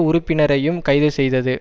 உறுப்பினரையும் கைது செய்தது